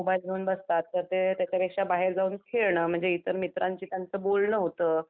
Mobile घेऊन बसतात तर ते त्याच्यापेक्षा बाहेर जाऊन खेळणं म्हणजे इतर मित्रांशी त्यांचं बोलणं होतं.